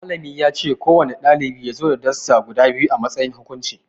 Malami yace ko wane ɗalibi yazo da Dasta guda biyu a matsayin hukunci